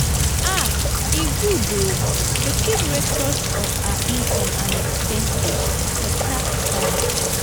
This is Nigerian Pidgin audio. um e good um to keep records of our income and expenses for tax filing.